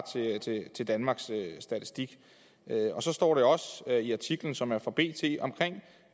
til danmarks statistik og så står der også i artiklen som er fra bt